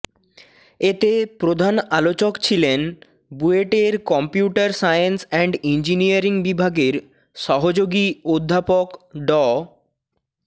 এতে প্রধান আলোচক ছিলেন বুয়েটের কম্পিউটার সায়েন্স অ্যান্ড ইঞ্জিনিয়ারিং বিভাগের সহযোগী অধ্যাপক ড